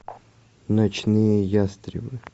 ночные ястребы